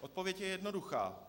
Odpověď je jednoduchá.